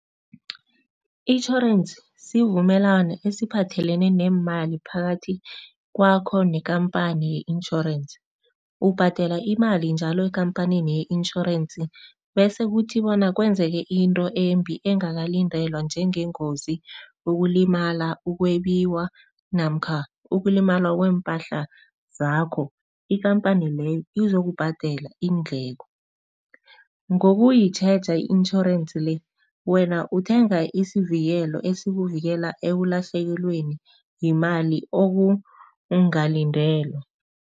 Itjhorensi sivumelwano esiphathelene neemali phakathi kwakho nekhampani ye-insurance. Ubhadela imali njalo ekhamphanini ye-insurance bese kuthi bona kwenzeke into embi engakalindelwa njengengozi, ukulimala, ukwebiwa namkha ukulimala kweempahla zakho, ikhamphani leyo izokubhadela iindleko. Ngokuyitjheja i-insurance le, wena uthenga isivikelo esikuvikela ekulahlekelweni yimali okungakalindelwa.